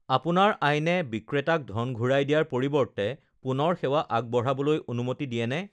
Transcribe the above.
আপোনাৰ আইনে বিক্ৰেতাক ধন ঘূৰাই দিয়াৰ পৰিৱৰ্তে পুনৰ সেৱা আগবঢ়াবলৈ অনুমতি দিয়েনে?